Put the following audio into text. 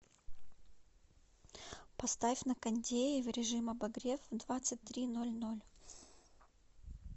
поставь на кондее в режим обогрев в двадцать три ноль ноль